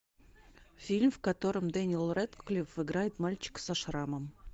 фильм в котором дэниел рэдклифф играет мальчика со шрамом